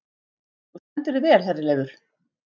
Þú stendur þig vel, Herleifur!